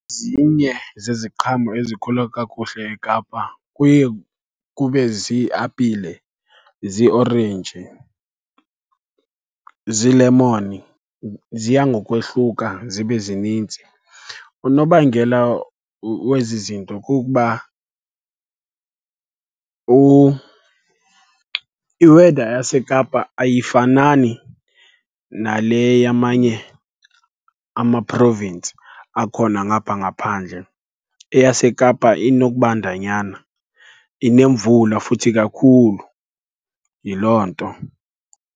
Zinye zeziqhamo ezikhula kakuhle eKapa kuye kube ziiapile, ziiorenji, ziilemoni, ziya ngokwehluka zibe zininzi. Unobangela wezi zinto kukuba i-weather yaseKapa ayifanani nale yamanye ama-province akhona ngapha ngaphandle. EyaseKapa inokubandanyana, inemvula futhi kakhulu, yiloo nto.